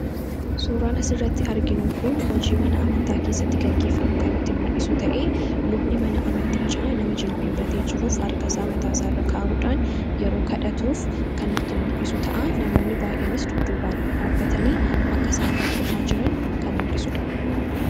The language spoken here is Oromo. Suuraan asirratti arginu kun hojii mana amantaa keessatti gaggeeffamu kan nutti mul'isu ta'ee lubni mana amantichaa nama jilbeenfatee jiruuf harka isaa mataarra kaa'uudhaan yeroo kadhatuuf kan nutti mul'isu ta'a. Namoonni baay'eenis dudduubaan dhaabbatanii akka isaan hordofaa jiran kan mul'isudha.